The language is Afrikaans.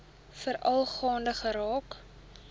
veral gaande geraak